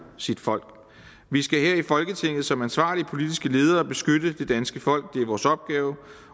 sit folk vi skal her i folketinget som ansvarlige politiske ledere beskytte det danske folk det er vores opgave